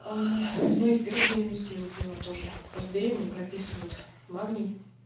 аа ну и в первой беременности я его пила тоже просто беременным прописывают тоже магний